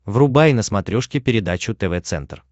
врубай на смотрешке передачу тв центр